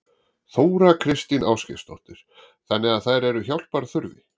Þóra Kristín Ásgeirsdóttir: Þannig að þær eru hjálpar þurfi?